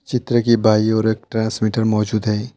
चित्र की बाई ओर एक ट्रांसमीटर मौजूद है।